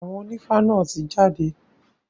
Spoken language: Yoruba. Àwọn ònífá náà ti jáde.